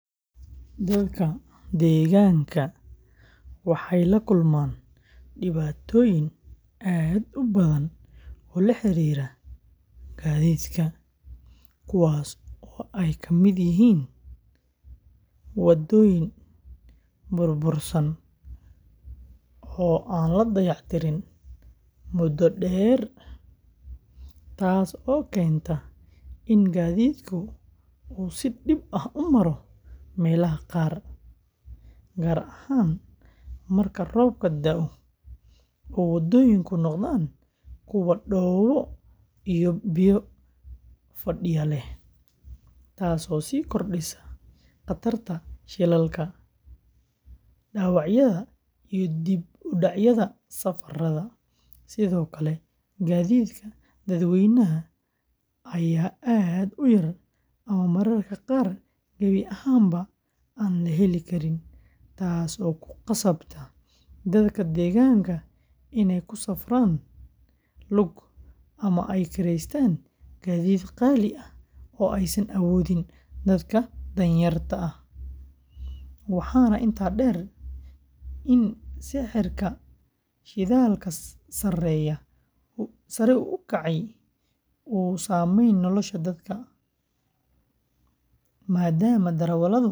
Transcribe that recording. Dadka deegaanka waxay la kulmaan dhibaatooyin aad u badan oo la xiriira gaadiidka, kuwaasoo ay ka mid yihiin waddooyin burbursan oo aan la dayactirin muddo dheer, taasoo keenta in gaadiidku uu si dhib ah u maro meelaha qaar, gaar ahaan marka roobka da’o oo waddooyinku noqdaan kuwo dhoobo iyo biyo fadhiya leh, taasoo sii kordhisa khatarta shilalka, dhaawacyada, iyo dib u dhacyada safarrada; sidoo kale, gaadiidka dadweynaha ayaa aad u yar ama mararka qaar gebi ahaanba aan la heli karin, taasoo ku khasabta dadka deegaanka inay ku safraan lug ama ay kireystaan gaadiid qaali ah oo aysan awoodin dadka danyarta ah, waxaana intaa dheer in sicirka shidaalka sare u kacay uu saameeyay nolosha dadka, maadaama darawalladu kordhiyaan qiimaha safarka.